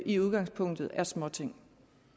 i udgangspunktet er småting